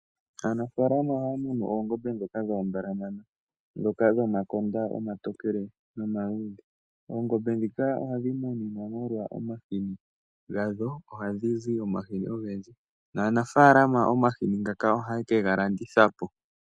Aanafaalama ohaya munu oongombe ndhoka dhoombalamana ndhoka dhomakonda omatokele nomaluudhe. Oongombe ndhoka ohadhi munwa molwa omahini gadho. Ohadhi zi omahini ogendji, naanafaalama omahini ngoka ohaye kega landitha po.